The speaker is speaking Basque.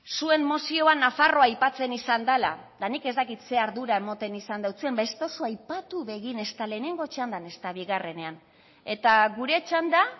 zuen mozioa nafarroa aipatzen izan dela eta nik ez dakit zein ardura ematen izan deutsue baina ez duzue aipatu ere egin ezta lehenengo txandan ezta bigarrenean eta gure txanda